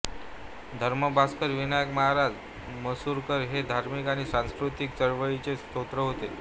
धर्मभास्कर विनायक महाराज मसूरकर हे धार्मिक आणि सांस्कृतिक चळवळींचे स्रोत होते